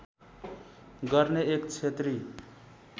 गर्ने एक क्षेत्री